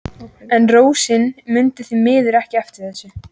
En Rósa mundi því miður ekki eftir þessu.